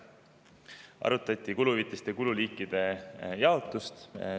Arutati ka kuluhüvitiste kululiikide jaotust.